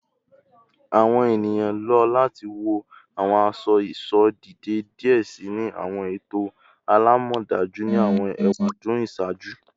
Awọn eniyan lo lati wọ awọn aṣọ-iṣọ deede diẹ sii ni awọn eto alamọdaju ni awọn ewadun iṣaaju